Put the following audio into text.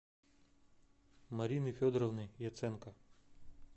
марины федоровны яценко